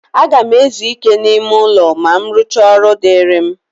A ga m ezu ike n'ime ụlọ ma m rụchaa ọrụ dịịrị m.